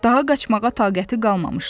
Daha qaçmağa taqəti qalmamışdı.